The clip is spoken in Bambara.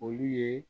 Olu ye